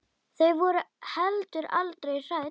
Þau voru heldur aldrei hrædd.